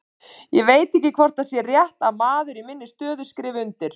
Ég veit ekki hvort það er rétt að maður í minni stöðu skrifi undir.